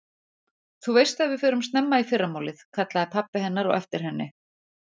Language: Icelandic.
Þú veist að við förum snemma í fyrramálið, kallaði pabbi hennar á eftir henni.